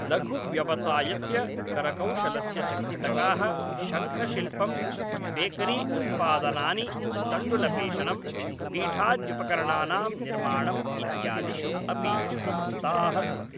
लघुव्यवसायस्य करकौशलस्य च घटकाः शङ्खशिल्पं, बेकरी उत्पादनानि, तण्डुलपेषणं, पीठाद्युपकरणानां निर्माणम् इत्यादिषु अपि प्रवृत्ताः सन्ति।